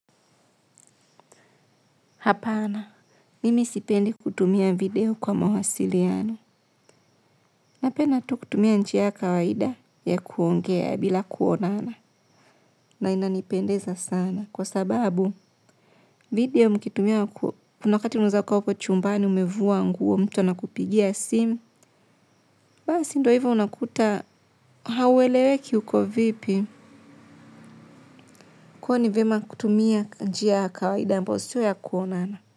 Hapana, mimi sipendi kutumia video kwa mawasiliano. Napenda tu kutumia njia ya kawaida ya kuongea bila kuonana. Kwa sababu video mkitumia kuna wakati mwenzako uko chumbani umevua nguo mtu ana kupigia simu. Basi ndio hivyo unakuta hauweleweki uko vipi kwahiyo ni vyema kutumia njia ya kawaida ambayo sio ya kuonana.